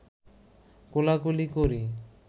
কোলাকুলি করি